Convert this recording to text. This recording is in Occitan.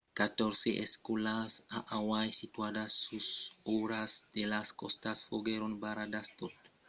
catòrze escòlas a hawaii situadas sus o a ras de las còstas foguèron barradas tot lo dimècres malgrat que las alèrtas èran estadas levadas